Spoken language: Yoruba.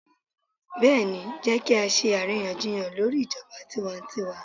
Bẹ́ẹ̀ni, Jẹ́ kí á ṣe àríyànjiyàn lórí ijọba tiwantiwa.